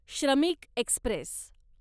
श्रमिक एक्स्प्रेस